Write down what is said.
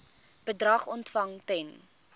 bedrag ontvang ten